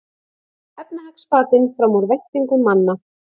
Efnahagsbatinn fram úr væntingum manna